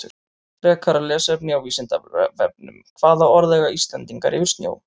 Frekara lesefni á Vísindavefnum Hvaða orð eiga Íslendingar yfir snjó?